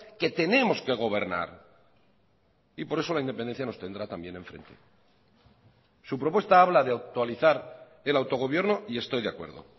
que tenemos que gobernar y por eso la independencia nos tendrá también en frente su propuesta habla de actualizar el autogobierno y estoy de acuerdo